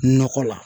Nakɔ la